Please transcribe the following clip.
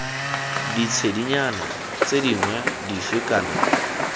ditshedinyana tse dingwe dife kana